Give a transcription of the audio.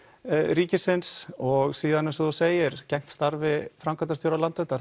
ríkisins og síðan eins og þú segir gegnt starfi framkvæmdarstjóra Landverndar